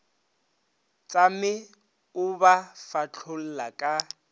tšame o ba fahlolla ke